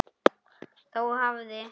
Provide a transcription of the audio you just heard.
Þá hafði